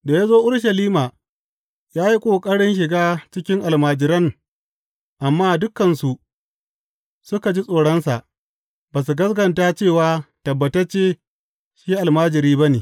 Da ya zo Urushalima, ya yi ƙoƙarin shiga cikin almajiran amma dukansu suka ji tsoronsa, ba su gaskata cewa tabbatacce shi almajiri ba ne.